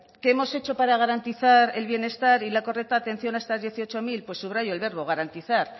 qué hemos hecho para garantizar el bienestar y la correcta atención a estas dieciocho mil pues subrayo el verbo garantizar